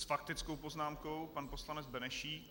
S faktickou poznámkou pan poslanec Benešík.